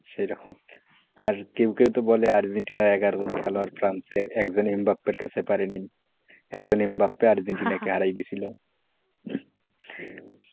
আর কেউ কেউ তো বলে আর্জেন্টিনার এগারো জন player নাকি ফ্রান্সের একজন এম বাপের কাছে পারে নাইএকজন এমবাপে আর্জেন্টিনাকে হারিয়ে দিয়েছিল,